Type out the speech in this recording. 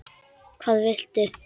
Hvað viltu?